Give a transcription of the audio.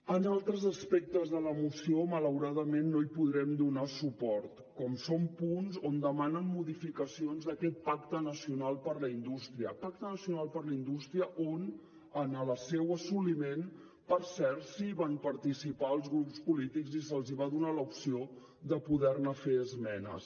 en altres aspectes de la moció malauradament no hi podrem donar suport com són punts on demanen modificacions d’aquest pacte nacional per a la indústria pacte nacional per a la indústria on en el seu assoliment per cert sí que van participar els grups polítics i se’ls va donar l’opció de poder hi fer esmenes